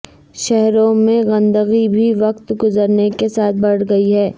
شہروں میں گندگی بھی وقت گزرنے کے ساتھ بڑھ گئی ہے